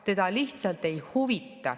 Teda lihtsalt ei huvita.